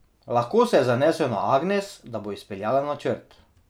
Lahko se je zanesel na Agnes, da bo izpeljala načrt.